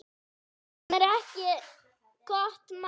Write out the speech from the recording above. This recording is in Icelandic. Sem er ekki gott mál.